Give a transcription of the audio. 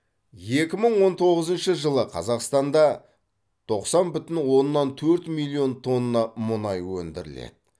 екі мың онтоғызыншы жылы қазақстанда тоқсан бүтін оннан төрт миллион тонна мұнай өндіріледі